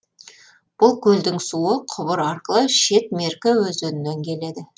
бұл көлдің суы құбыр арқылы шет меркі өзенінен келеді